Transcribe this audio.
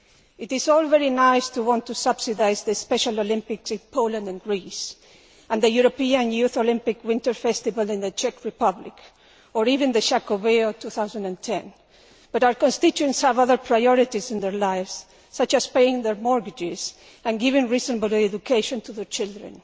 It is all very nice to want to subsidise the Special Olympics in Poland and Greece and the European Youth Olympic Winter Festival in the Czech Republic, or even Xacobeo 2010, but our constituents have other priorities in their lives, such as paying their mortgages and giving a reasonable education to their children.